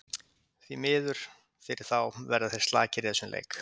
Því miður fyrir þá, þá verða þeir slakir í þessum leik.